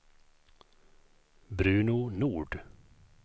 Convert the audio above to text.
Bruno Nord